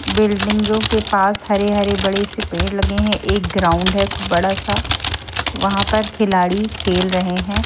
बिल्डिंगों के पास हरे-हरे बड़े से पेड़ लगे हैं एक ग्राउंड है बड़ा सा वहां पर खिलाड़ी खेल रहे हैं।